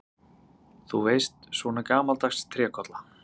Þú veist, svona gamaldags trékolla.